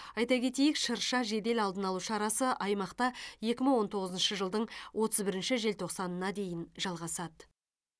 айта кетейік шырша жедел алдын алу шарасы аймақта екі мың он тоғызыншы жылдың отыз бірінші желтоқсанына дейін жалғасады